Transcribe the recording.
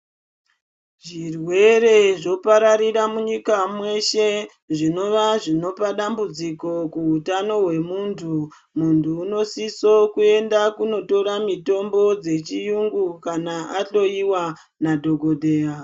Zvirwere zvopararira munyika mweshe zvinova zvinopa dambudziko kuutano hwemuntu , muntu unosise kuenda kunotora mitombo dzechiyungu kana ahloiwa nadhokodheya.